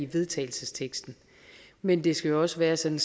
vedtagelse men det skal også være sådan